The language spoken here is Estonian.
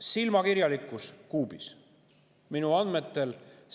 Silmakirjalikkus kuubis!